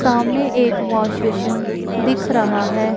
सामने एक wash basin दिख रहा है।